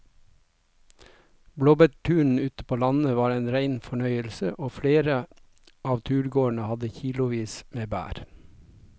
Blåbærturen ute på landet var en rein fornøyelse og flere av turgåerene hadde kilosvis med bær.